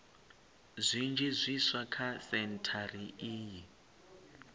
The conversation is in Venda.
zwinzhi zwiswa kha sentshari iyi